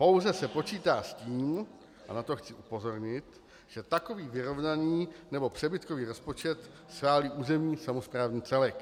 Pouze se počítá s tím, a na to chci upozornit, že takový vyrovnaný nebo přebytkový rozpočet schválí územní samosprávný celek.